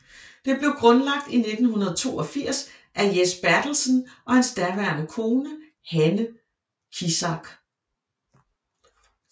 Det blev grundlagt i 1982 af Jes Bertelsen og hans daværende kone Hanne Kizach